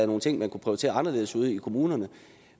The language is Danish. nogle ting man kunne prioritere anderledes ud i kommunerne